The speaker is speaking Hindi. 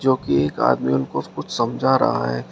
जो की एक आदमी उनको कुछ समझ रहा है।